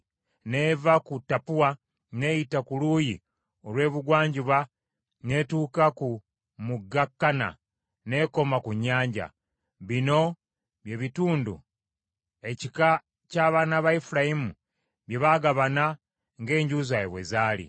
N’eva ku Tappua n’eyita ku luuyi olw’ebugwanjuba n’etuuka ku mugga Kana n’ekoma ku nnyanja. Bino bye bitundu ekika ky’abaana ba Efulayimu bye baagabana ng’enju zaabwe bwe zaali.